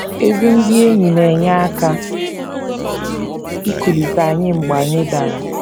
Ezi ndị enyi na - enye aka ikulite anyị mgbe anyị dara.